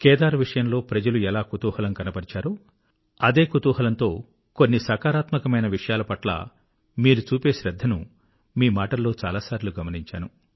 కేదార్ విషయంలో ప్రజలు ఎలా కుతూహలం కనబరిచారో అదే కుతూహలంతో కొన్ని సకారాత్మకమైన విషయాలపట్ల మీరు చూపే శ్రద్ధను మీ మాటల్లో చాలా సార్లు గమనించాను